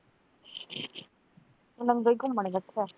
ਨੰਗੇ ਘੁੰਮਣ